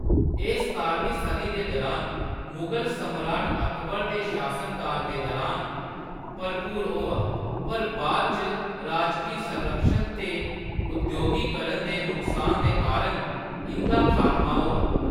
एह्‌‌ सतारमीं सदी दे दुरान मुगल सम्राट अकबर दे शासनकाल दे दुरान भरपूर होआ, पर बाद च राजकी संरक्षण ते उद्योगीकरण दे नुकसान दे कारण इंʼदा खात्मा होआ।